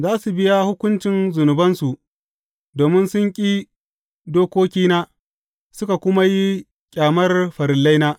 Za su biya hukuncin zunubansu domin sun ƙi dokokina, suka kuma yi ƙyamar farillaina.